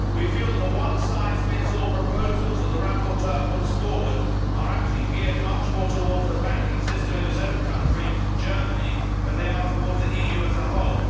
We feel that the one size fits all proposals that the rapporteur puts forward are actually geared much more towards the banking system of his own country, Germany, than they are towards the EU as a whole.